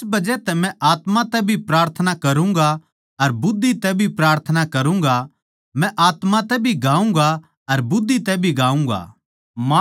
इस बजह तै मै आत्मा तै भी प्रार्थना करूँगा अर बुद्धि तै भी प्रार्थना करूँगा मै आत्मा तै भी गाऊँगा अर बुद्धि तै भी गाऊँगा